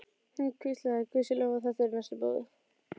Hann hvíslaði: Guði sé lof að þetta er næstum búið.